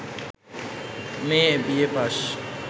মেয়ে বিএ পাশ